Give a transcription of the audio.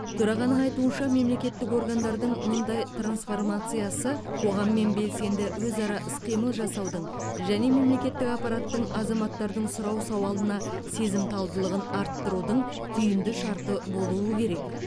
төрағаның айтуынша мемлекеттік органдардың мұндай трансформациясы қоғаммен белсенді өзара іс қимыл жасаудың және мемлекеттік аппараттың азаматтардың сұрау салуына сезімталдығын арттырудың түйінді шарты болуы керек